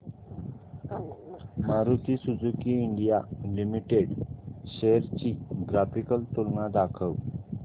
Maruti Suzuki India limited shares ची graphical तुलना दाखव